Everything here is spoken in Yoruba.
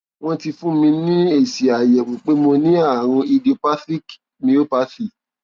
wọn ti fún mi ní èsì àyẹwò pé mo ní àrùn idiopathic myopathy